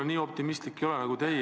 Ma nii optimistlik ei ole nagu teie.